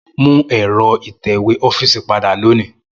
Mu ẹ̀rọ ìtẹ̀wé ọfiisi pada loni.